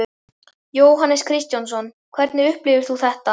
Jóhannes Kristjánsson: Hvernig upplifir þú þetta?